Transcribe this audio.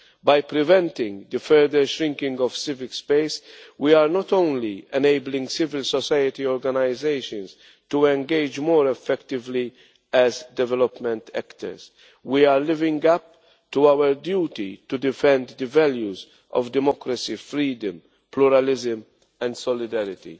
By preventing the further shrinking of civil space, we are not only enabling civil society organisations to engage more effectively as development actors, but we are living up to our duty to defend the values of democracy, freedom, pluralism and solidarity.